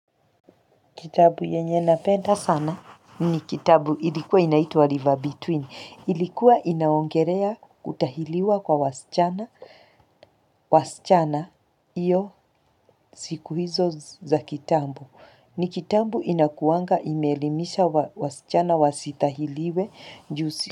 Kitabu yenye napenda sana ni kitabu ilikuwa inaitwa River Between, Ilikuwa inaongelea kutahiriwa kwa wasichana. Wasichana iyo siku hizo za kitambo ni kitabu inakuanga ime elimisha wasichana wasitahiriwe juu si.